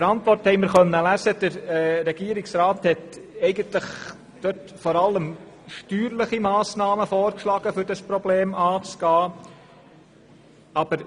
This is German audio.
Der Antwort konnten wir entnehmen, dass der Regierungsrat vor allem steuerliche Massnahmen vorschlägt, um das Problem anzugehen.